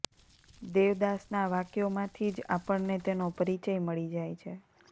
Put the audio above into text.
દેવદાસનાં વાક્યોમાંથી જ આપણને તેનો પરિચય મળી જાય છે